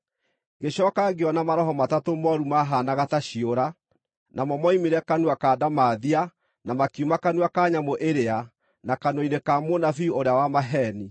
Ngĩcooka ngĩona maroho matatũ mooru maahaanaga ta ciũra; namo moimire kanua ka ndamathia, na makiuma kanua ka nyamũ ĩrĩa, na kanua-inĩ ka mũnabii ũrĩa wa maheeni.